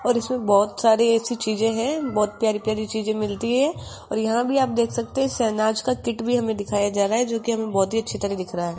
और इसमें बहोत सारी ऐसी चीजे हैं बहुत प्यारी प्यारी चीजे मिलती हैं और यहां भी आप देख सकते हैं शहनाज का किट भी हमें दिखाई जा रहा है जो कि हमें बहुत ही अच्छी तरह दिख रहा है।